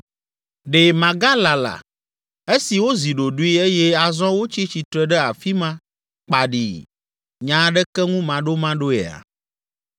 Ɖe magalala, esi wozi ɖoɖoe eye azɔ wotsi tsitre ɖe afi ma kpaɖii nya aɖeke ŋu maɖomaɖoea?